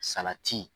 Salati